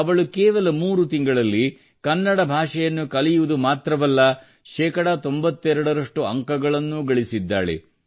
ಅವಳು ಕೇವಲ 3 ತಿಂಗಳಲ್ಲಿ ಕನ್ನಡ ಭಾಷೆಯನ್ನು ಕಲಿಯುವುದು ಮಾತ್ರವಲ್ಲ 92 ರಷ್ಟು ಅಂಕಗಳನ್ನೂ ಗಳಿಸಿದ್ದಾಳೆ